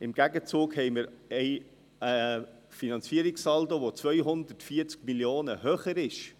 Im Gegenzug haben wir einen Finanzierungssaldo, welcher 240 Mio. Franken höher liegt.